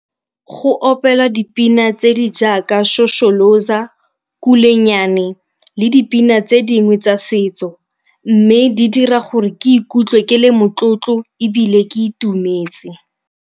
Go opela dipina tse di jaaka Shosholoza, Kulenyane le dipina tse dingwe tsa setso mme di dira gore ke ikutlwe ke le motlotlo ebile ke itumetse.